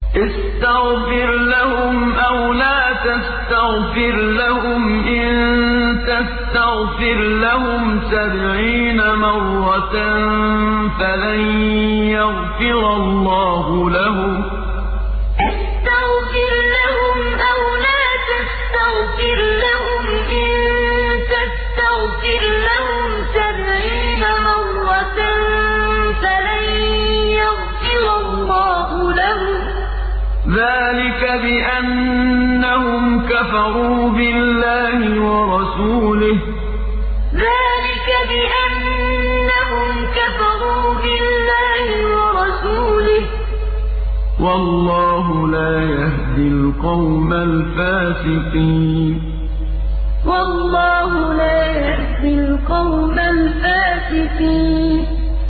اسْتَغْفِرْ لَهُمْ أَوْ لَا تَسْتَغْفِرْ لَهُمْ إِن تَسْتَغْفِرْ لَهُمْ سَبْعِينَ مَرَّةً فَلَن يَغْفِرَ اللَّهُ لَهُمْ ۚ ذَٰلِكَ بِأَنَّهُمْ كَفَرُوا بِاللَّهِ وَرَسُولِهِ ۗ وَاللَّهُ لَا يَهْدِي الْقَوْمَ الْفَاسِقِينَ اسْتَغْفِرْ لَهُمْ أَوْ لَا تَسْتَغْفِرْ لَهُمْ إِن تَسْتَغْفِرْ لَهُمْ سَبْعِينَ مَرَّةً فَلَن يَغْفِرَ اللَّهُ لَهُمْ ۚ ذَٰلِكَ بِأَنَّهُمْ كَفَرُوا بِاللَّهِ وَرَسُولِهِ ۗ وَاللَّهُ لَا يَهْدِي الْقَوْمَ الْفَاسِقِينَ